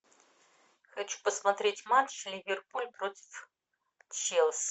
хочу посмотреть матч ливерпуль против челси